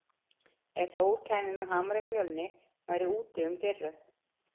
Ef Þór kæmi með hamarinn Mjölni væri úti um Geirröð.